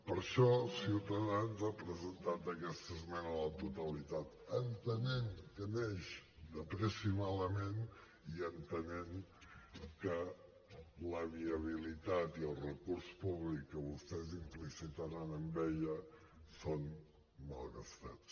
per això ciutadans ha presentat aquesta esmena a la totalitat entenent que neix de pressa i malament i entenent que la viabilitat i el recurs públic que vostès implicitaran en ella són malgastats